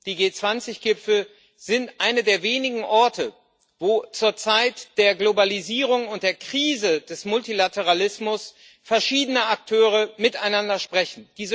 Die G20 Gipfel sind einer der wenigen Orte, wo zur Zeit der Globalisierung und der Krise des Multilateralismus verschiedene Akteure miteinander sprechen.